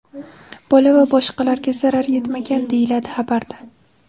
Bola va boshqalarga zarar yetmagan, deyiladi xabarda.